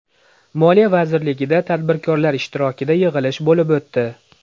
Moliya vazirligida tadbirkorlar ishtirokida yig‘ilish bo‘lib o‘tdi.